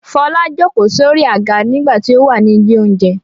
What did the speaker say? Fọlá ìjókòó sórí àga nígbà tí ó wà ní ilé-oúnjẹ.